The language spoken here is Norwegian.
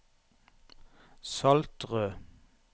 Saltrød